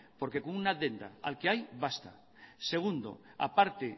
porque con una al que hay basta segundo a parte